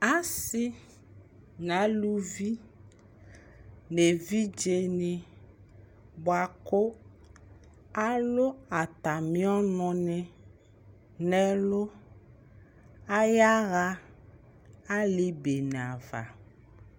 asii nʋ alʋvi nʋ ɛvidzɛ ni bʋakʋ alʋ atami ɔnʋ ni nʋ ɛlʋ, ayaa ali bɛnɛ aɣa